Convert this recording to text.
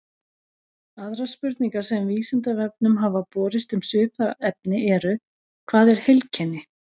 Aðrar spurningar sem Vísindavefnum hafa borist um svipað efni eru: Hvað er heilkenni?